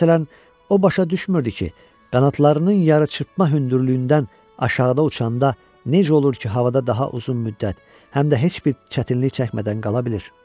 Məsələn, o başa düşmürdü ki, qanadlarının yarı çırpma hündürlüyündən aşağıda uçanda necə olur ki, havada daha uzun müddət, həm də heç bir çətinlik çəkmədən qala bilir.